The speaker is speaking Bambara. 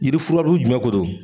Yiri furabulu jumɛn ko don?